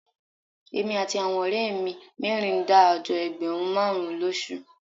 Èmi àti àwọn ọ̀rẹ́ mi mẹ́rin ń dá àjọ ẹgbẹ̀rún márùn-ún lóṣù